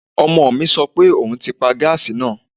Ọmọ mi sọ pé òun ti paa gáàsì náà